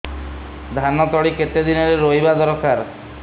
ଧାନ ତଳି କେତେ ଦିନରେ ରୋଈବା ଦରକାର